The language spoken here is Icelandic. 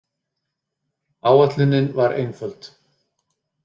Áætlunin var einföld.